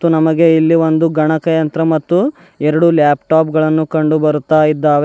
ನಮಗೆ ಇಲ್ಲಿ ಒಂದು ಗಣಕಯಂತ್ರ ಮತ್ತು ಎರಡು ಲ್ಯಾಪ್ಟಾಪ್ ಗಳನ್ನು ಕಂಡು ಬರುತ್ತಾ ಇದ್ದಾವೆ.